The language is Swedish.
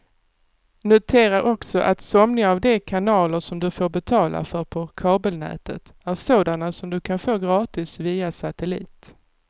Notera också att somliga av de kanaler som du får betala för på kabelnätet är sådana som du kan få gratis via satellit.